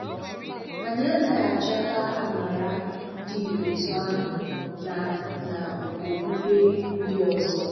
Anyị anaghị achọ̀tà àmàrà dị otú ahụ na na okpùkpè ndị ọzọ.